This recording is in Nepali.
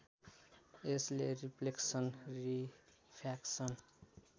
यसले रिफ्लेक्सन रिफ्र्याक्सन